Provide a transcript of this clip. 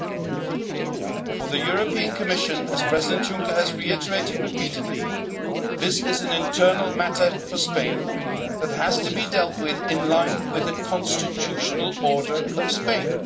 In the Commission's view, as President Juncker has reiterated repeatedly, this is an internal matter for Spain that has to be dealt with in line with the constitutional order of Spain.